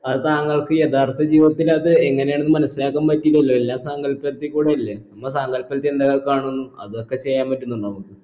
അത് താങ്കൾക്ക് യഥാർത്ഥ ജീവിതത്തിൽ അത് എങ്ങനെയാണ് മനസിലാക്കാൻ പറ്റിയില്ലല്ലോ എല്ലാം സങ്കല്പത്തി കൂടെ അല്ലെ നമ്മ സങ്കല്പത്തി എന്തൊക്കെ കാണുന്നു അതൊക്കെ ചെയ്യാൻ പറ്റുന്നുമുണ്ടോ നമുക്ക്